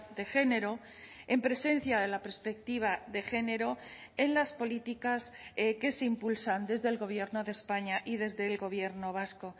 de género en presencia de la perspectiva de género en las políticas que se impulsan desde el gobierno de españa y desde el gobierno vasco